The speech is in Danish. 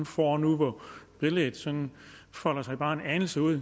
får nu hvor billedet sådan folder sig bare en anelse ud